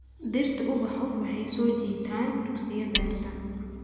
Dhirtu ubaxu waxay soo jiitaan duqsiyo beerta.